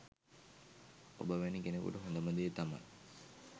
ඔබ වැනි කෙනෙකුට හොඳම දේ තමයි